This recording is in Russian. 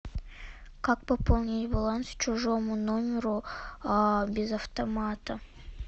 как пополнить баланс чужому номеру без автомата